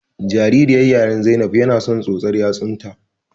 Jaririyar ƴaruwar Zainab yana son tsotsar yatsun ta.